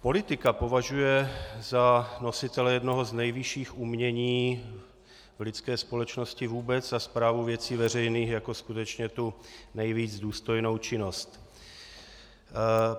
Politika považuje za nositele jednoho z nejvyšších umění v lidské společnosti vůbec a správu věcí veřejných jako skutečně tu nejvíc důstojnou činnost.